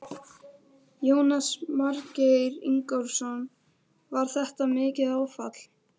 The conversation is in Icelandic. Jónas Margeir Ingólfsson: Var þetta mikið áfall?